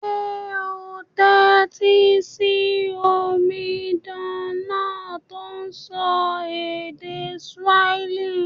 Sé o n tẹ́tí si omidan náà to n sọ Swahili?